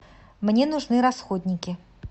мне нужны расходники